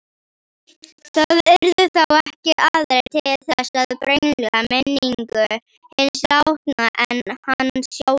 Það yrðu þá ekki aðrir til þess að brengla minningu hins látna en hann sjálfur.